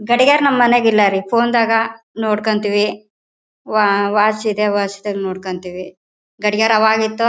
ಗಡಿಯರ್ ನಮ್ ಮನೆಗ್ ಇಲ್ಲಾ ರೀ. ಫೋನ್ ದಾಗ ನೋಡ್ಕಂತೀವಿ ವಾಚು ಇದೆ. ವಾಚು ದಾಗ ನೋಡ್ಕಂತೀವಿ ಗಡಿಯಾರ್ ಆವಾಗಿತ್ತು.